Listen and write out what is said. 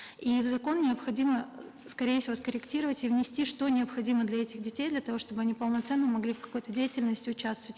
и в закон необходимо скорее всего скорректировать и внести что необходимо для этих детей для того чтобы они полноценно могли в какой то деятельности участвовать